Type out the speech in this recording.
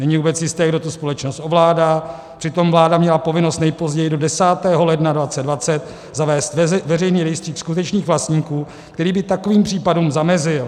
Není vůbec jisté, kdo tu společnost ovládá, přitom vláda měla povinnost nejpozději do 10. ledna 2020 zavést veřejný rejstřík skutečných vlastníků, který by takovým případům zamezil.